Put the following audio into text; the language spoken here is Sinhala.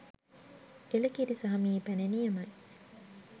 එල කිරි සහ මී පැණි නියමයි